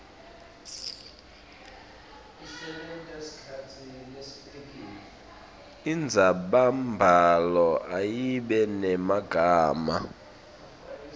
indzabambhalo ayibe nemagama